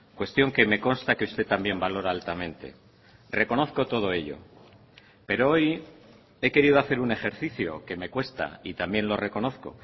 cuestión que me consta que usted también valora altamente reconozco todo ello pero hoy he querido hacer un ejercicio que me cuesta y también lo reconozco